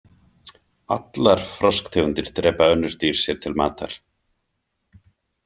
Allar frosktegundir drepa önnur dýr sér til matar.